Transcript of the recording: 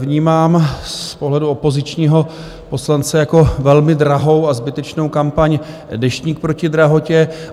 Vnímám z pohledu opozičního poslance jako velmi drahou a zbytečnou kampaň Deštník proti drahotě.